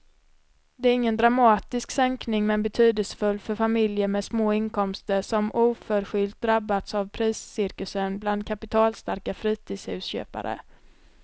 Det är ingen dramatisk sänkning men betydelsefull för familjer med små inkomster som oförskyllt drabbats av priscirkusen bland kapitalstarka fritidshusköpare.